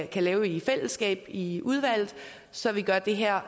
kan lave i fællesskab i i udvalget så vi gør det her